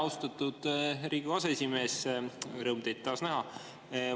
Austatud Riigikogu aseesimees, rõõm teid taas näha!